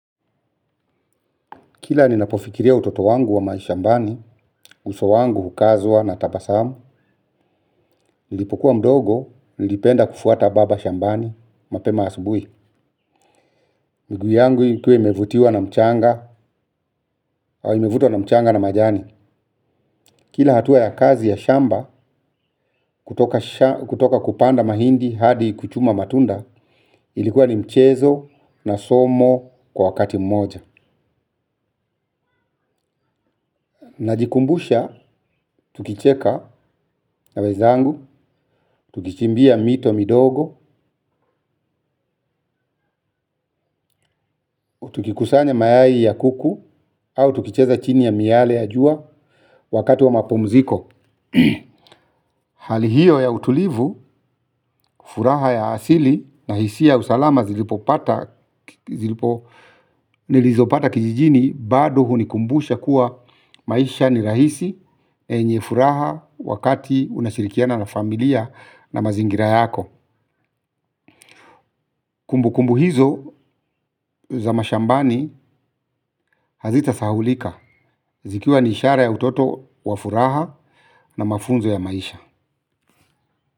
Kila ninapofikiria utoto wangu wa mashambani, uso wangu hukazwa na tabasamu, nilipokuwa mdogo, nilipenda kufuata baba shambani, mapema asubui. Miguu yangu yikuwe imevutiwa na mchanga, au imevutwa na mchanga na majani. Kila hatua ya kazi ya shamba, kutoka kupanda mahindi hadi kuchuma matunda, ilikuwa ni mchezo na somo kwa wakati mmoja. Najikumbusha, tukicheka na wezangu, tukichimbia mito midogo, tukikusanya mayai ya kuku, au tukicheza chini ya miyale ya jua wakati wa mapumziko. Hali hiyo ya utulivu, furaha ya asili, nahisia ya usalama zilipo pata, zilipo nilizopata kijijini. Bado hunikumbusha kuwa maisha ni rahisi, yenye furaha wakati unashirikiana na familia na mazingira yako. Kumbu kumbu hizo za mashambani hazita sahaulika zikiwa ni ishara ya utoto wa furaha na mafunzo ya maisha.